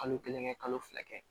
Kalo kelen kɛ kalo fila kɛ